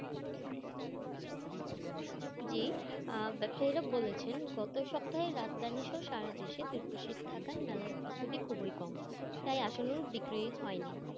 জি, আহ ব্যবসায়ীরা বলেছেন, গত সপ্তাহে রাজধানী সহ সারা দেশে তীব্র শীত থাকায় মেলায় উপস্থিতি খুবই কম, তাই আশানুরূপ বিক্রি হয়নি।